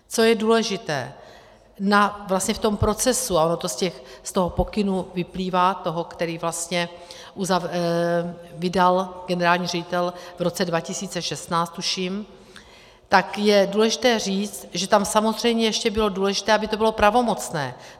Co je důležité - vlastně v tom procesu, a ono to z toho pokynu vyplývá, toho, který vlastně vydal generální ředitel v roce 2016 tuším, tak je důležité říct, že tam samozřejmě ještě bylo důležité, aby to bylo pravomocné.